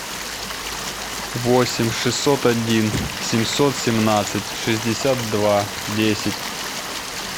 восемь шестьсот один семьсот семнадцать шестьдесят два десять